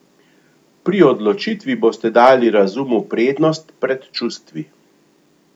Pri odločitvi boste dali razumu prednost pred čustvi.